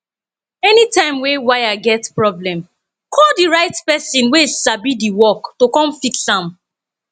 anytime wey wire get problem call di right person wey sabi di work to come fix am